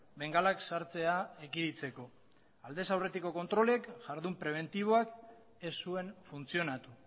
bengalak sartzea ekiditeko aldez aurretiko kontrolek jardun prebentiboak ez zuen funtzionatu